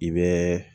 I bɛ